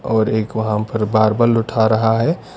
और एक वहां पर बारबल उठा रहा है।